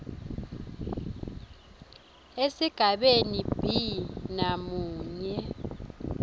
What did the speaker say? esigabeni b namunye